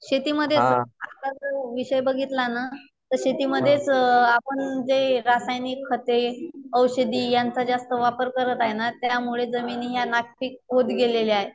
शेतीमध्ये आता जो विषय बघितला ना तर शेतीमध्ये आपण जे रासायनिक खते, औषधी यांचा जास्त वापर करत आहे ना त्यामुळे जमिनी ह्या नापीक होत गेलेल्या आहेत.